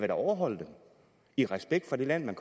da overholde dem i respekt for det land